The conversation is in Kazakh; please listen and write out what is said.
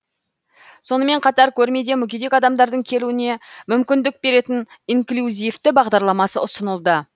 сонымен қатар көрмеде мүгедек адамдардың келуіне мүмкіндік беретін инклюзивті бағдарламасы ұсынылды